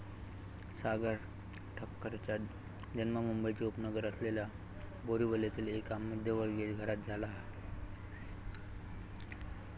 सागर ठक्करचा जन्म मुंबईचे उपनगर असलेल्या बोरिवलीत एका मध्यमवर्गीय घरात झाला.